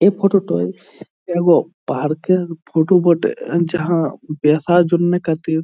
এই photo toy এব park -এর ফটো বটে এ যাহা দেখার জন্য কটি--